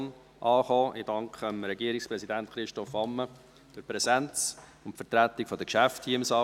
Ich danke Regierungspräsident Christoph Ammann für die Präsenz und die Vertretung der Geschäfte hier im Saal.